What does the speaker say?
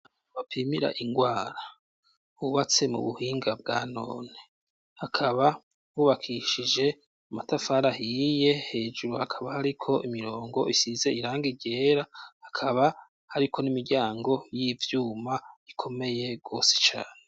Bapimira ingwara ubatse mu buhinga bwa none hakaba bubakishije amatafarahiye hejuru hakaba hariko imirongo isize irange iryera hakaba, ariko n'imiryango y'ivyuma ikomeye gose cane.